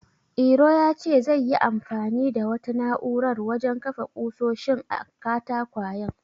Iro ya ce zai yi anfani da wata na'urar wajen kafa ƙusoshin a katakwayen.